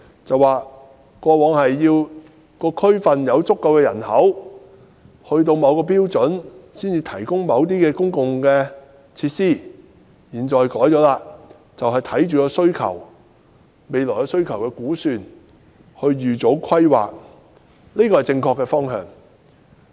政府表示，過往要求地區內有足夠人口並達至某個標準，政府才會提供某些公共設施，但現在做法已更改，便是視乎未來需求的估算來預早規劃，這是正確的方向。